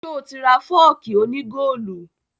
Ṣé o tí ra fọ́ọ̀kì òní góòlù